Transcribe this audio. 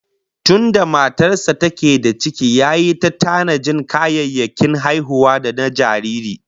Tunda matar sa take da ciki yayi ta tanajin kayayyakin haihuwa da na jariri